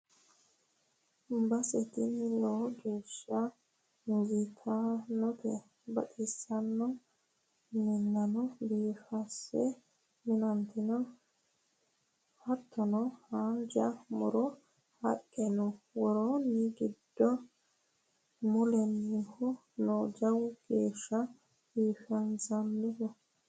Base tini lowo geeshsha injittanote baxisanono minano biifinse minoniti no hattono haanja muro haqqe no, worooni gidu moolinohu no jawa geeshsha biifanohu.